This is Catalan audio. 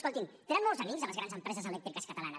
escolti’m tenen molts amics a les grans empreses elèctriques catalanes